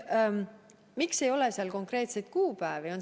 Miks ei ole seal konkreetseid kuupäevi?